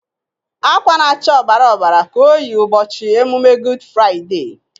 Akwa na-acha ọbara ọbara ka o yi ụbọchị emume Gud Fraiday.